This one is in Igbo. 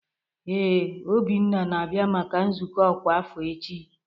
Ee, Obinna na-abia maka nzukọ ọkwa afọ echi.